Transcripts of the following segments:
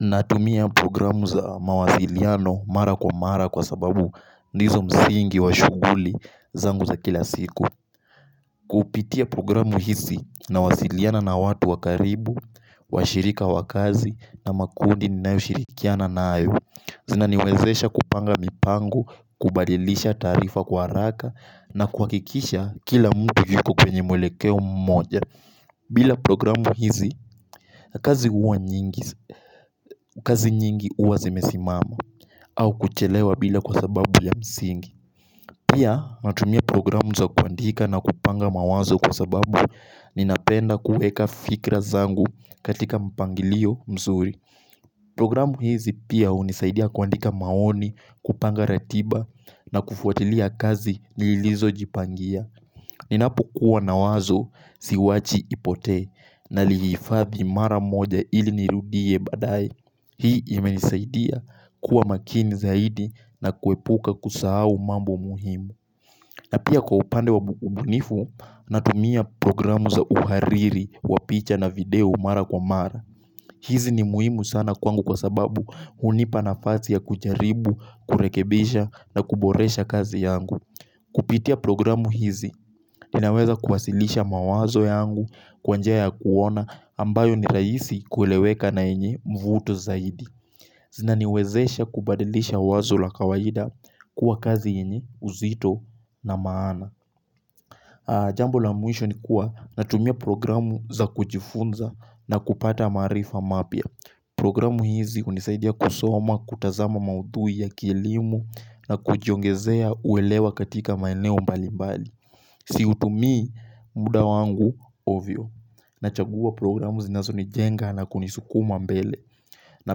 Natumia programu za mawasiliano mara kwa mara kwa sababu ndizo msingi wa shughuli zangu za kila siku Kupitia programu hizi nawasiliana na watu wa karibu, washirika wa kazi na makundi ninayoshirikiana nayo Zinaniwezesha kupanga mipango, kubadilisha taarifa kwa haraka na kuhakikisha kila mtu yuko kwenye mwelekeo mmoja bila programu hizi, kazi nyingi huwa zimesimama au kuchelewa bila kwa sababu ya msingi Pia natumia programu za kuandika na kupanga mawazo kwa sababu ninapenda kuweka fikra zangu katika mpangilio mzuri Programu hizi pia hunisaidia kuandika maoni kupanga ratiba na kufuatilia kazi nilizo jipangia Ninapo kuwa na wazo siwachi ipote nalihifathi mara moja ili nirudie baadae Hii imenisaidia kuwa makini zaidi na kuepuka kusahau mambo muhimu na pia kwa upande wa ubunifu natumia programu za uhariri wa picha na video mara kwa mara hizi ni muhimu sana kwangu kwa sababu hunipa nafasi ya kujaribu, kurekebisha na kuboresha kazi yangu Kupitia programu hizi, ninaweza kuwasilisha mawazo yangu kwa njia ya kuona ambayo ni rahisi kueleweka na yenye mvuto zaidi. Zinaniwezesha kubadilisha wazo la kawaida kuwa kazi yenye uzito na maana. Jambu la mwisho ni kuwa natumia programu za kujifunza na kupata maarifa mapya. Programu hizi hunisaidia kusoma, kutazama maudhui ya kilimo na kujiongezea uelewa katika maeneo mbali mbali. Siutumii muda wangu ovyo. Nachagua programu zinazoni jenga na kunisukuma mbele. Na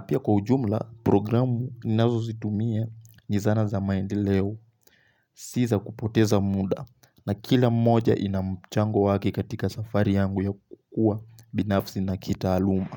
pia kwa ujumla programu zinazozitumia ni zana za maendeleo. Si za kupoteza muda na kila moja ina mchango wake katika safari yangu ya kukua binafsi na kitaaluma.